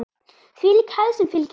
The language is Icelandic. Þvílík hefð sem fylgir þeim.